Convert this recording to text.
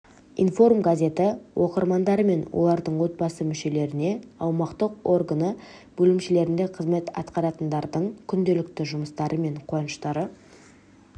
информ газеті оқырмандары мен олардың отбасы мүшелеріне аумақтық органы бөлімшелерінде қызмет атқаратындардың күнделікті жұмыстары мен қуаныштары